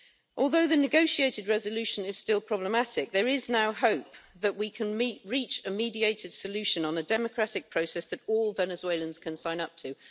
Although the negotiated resolution is still problematic, there is now hope that we can reach a mediated solution on a democratic process that all Venezuelans can sign up to.